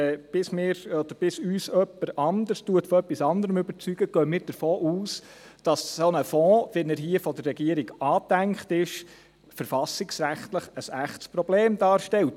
Bis uns jemand von etwas anderem überzeugt, gehen wir davon aus, dass ein solcher Fonds, wie er von der Regierung angedacht ist, verfassungsrechtlich ein echtes Problem darstellt.